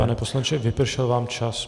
Pane poslanče, vypršel vám čas.